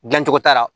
Dilancogo t'a la